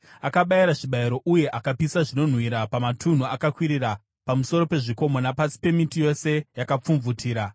Akabayira zvibayiro uye akapisa zvinonhuhwira pamatunhu akakwirira, pamusoro pezvikomo napasi pemiti yose yakapfumvutira.